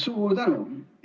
Suur tänu!